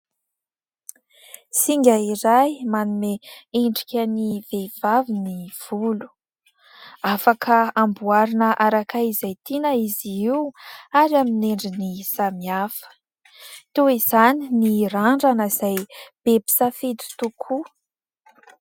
Singa iray manome endrika ny vehivavy ny volo. Afaka amboarina araka izay tiana izy io ary amin' ny endriny samihafa. Toy izany ny randrana izay be mpisafidy tokoa.